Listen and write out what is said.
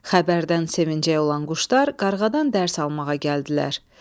Xəbərdən sevinəcək olan quşlar qarğadan dərs almağa gəldilər.